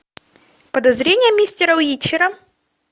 подозрения мистера уичера